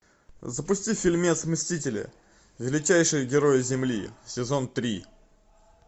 запусти фильмец мстители величайшие герои земли сезон три